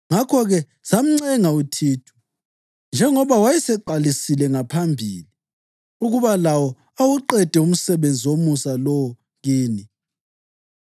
Ngakho-ke, samncenga uThithu, njengoba wayeseqalisile ngaphambilini, ukuba lawo awuqede umsebenzi womusa lo kini.